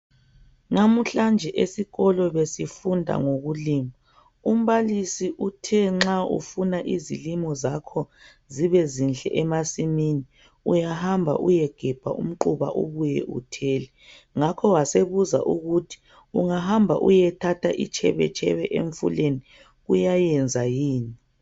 Namuhlanje esikolo besifunda ngokulima umbalisi uthe nxa ufuna izilimo zalkho zibe zinhle emasimini uyahamba uyegebha umquba ubuye uthele ngakho wasebuza ukuthi ungahamba uyethatha itshebetshebe emfuleni kuyayenza yini.